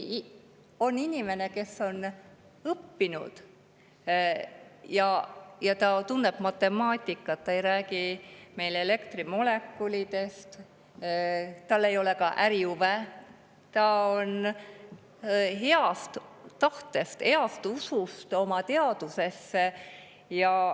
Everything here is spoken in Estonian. On inimene, kes on õppinud ja tunneb matemaatikat, ta ei räägi meile elektrimolekulidest, tal ei ole ka ärihuve, tal on hea tahe, usk oma teadusesse.